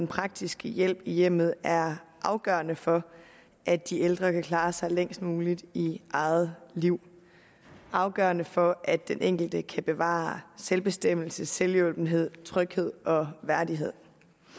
praktiske hjælp i hjemmet er afgørende for at de ældre kan klare sig længst muligt i eget liv er afgørende for at den enkelte kan bevare selvbestemmelse selvhjulpenhed tryghed og værdighed